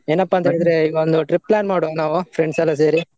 ಏನಪ್ಪ ಅಂತ ಇವಾಗ ನಾವು trip plan ಮಾಡುವ ನಾವು friends ಎಲ್ಲ ಸೇರಿ ?